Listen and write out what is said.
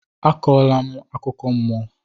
A kọrọ la m akụkọ mmụọ!